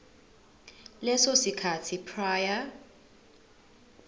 leso sikhathi prior